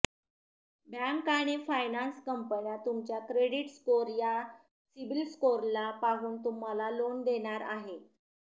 bank आणि finance कंपन्या तुमच्या क्रेडिट स्कोर या सिबिल स्कोरला पाहून तुम्हाला लोन देणार आहे